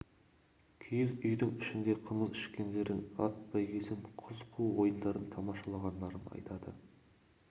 киіз үйдің ішінде қымыз ішкендерін ат бәйгесін қыз қуу ойындарын тамашалағандарын айтады